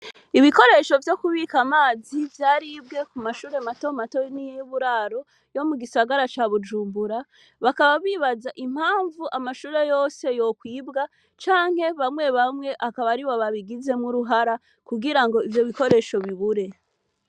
Ibikoresho vyo kubika amazi vyaribwe ku mashure matomato niy'uburaro yo mu gisagara ca Bujumbura bakaba bibaza impamvu amashure yose yokwibwa canke bamwe bamwe akaba aribo babigizemwo uruhara kugira ngo ivyo bikoresho bibure.